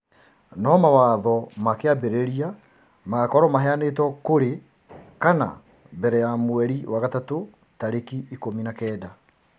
No mawatho ma kĩambĩrĩria magakorũo maheanĩtwo kũrĩ kana mbere ya Mweri wa gatatũ tarĩki ikũmi na kenda.